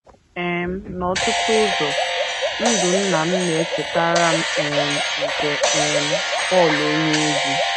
um N’ọtụtụ ụzọ, ndụ nna m na - echetara m um nke um Pọl onyeozi.